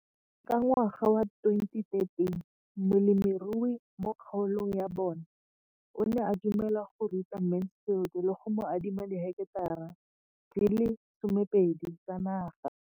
Ka ngwaga wa 2013, molemirui mo kgaolong ya bona o ne a dumela go ruta Mansfield le go mo adima di heketara di le 12 tsa naga.